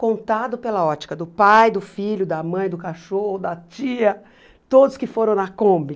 contado pela ótica do pai, do filho, da mãe, do cachorro, da tia, todos que foram na Kombi.